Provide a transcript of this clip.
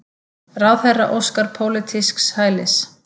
Ráðherra óskar pólitísks hælis